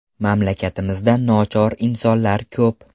Mamlakatimizda nochor insonlar ko‘p.